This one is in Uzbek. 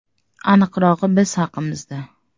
Aniqrog‘i Biz haqimizda.